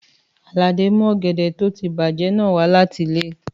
Àlàdé mu ọ̀gẹ̀dẹ̀ tó ti bàjẹ́ náà wa láti ilé.